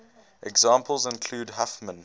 examples include huffman